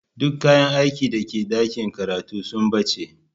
Duk kayan aikin da ke dakin karatun sun bace.